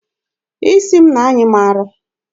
Isi m na-anyị m arọ.